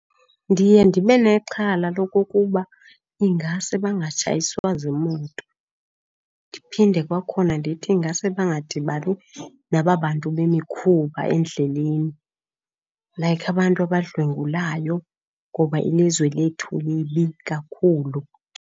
Ndiye ndibe nexhala lokokuba ingase bangatshayiswa ziimoto ndiphinde kwakhona ndithi ingase bangadibani nababantu bemikhuba endleleni, like abantu abadlwengulayo, ngoba ilizwe lethu libi kakhulu.